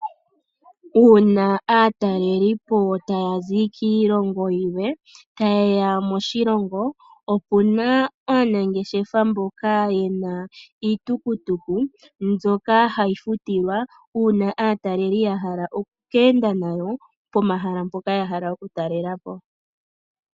Uuna aatalelipo taya zi kulwe taye ya moshilongo opu na aanangeshefa mboka ye na iitukutuku mbyoka hayi futilwa, uuna aataleli ya hala oku ka enda nayo yatale uushitwe wa yooloka pomahala mpoka ya hala okutalela po.